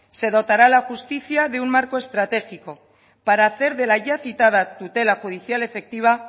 se dotará a la justicia de un marco estratégico para hacer de la ya citada tutela judicial efectiva